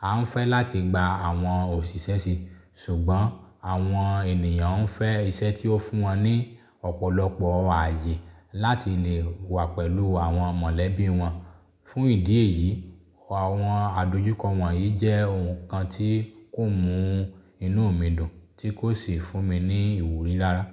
A ń fẹ́ láti gba àwọn òṣìṣẹ́ síi ṣùgbọ́n àwọn ènìyàn ń fẹ́ iṣẹ́ tí ó fún wọn ní ọ̀pọ̀lọpọ̀ ààyè láti lè wà pẹ̀lú àwọn mọ̀lẹ́bí wọn. Fún ìdí èyí, àwọn àdojúkọ wọ̀nyí jẹ́ oun kan tí kò mú inú mi dùn tí kò sì fún mi ní ìwúrí rárá.